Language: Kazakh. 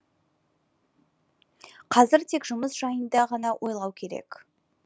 қазір тек жұмыс жайында ғана ойлану керек